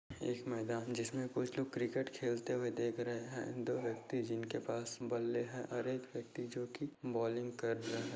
एक मैदान जिसमे कुछ लोग क्रिकेट खेलते हुए देख रहे है दो व्यक्ति जिनके पास बल्ले है हर एक व्यक्ति जो की बोलिंग कर रहे है।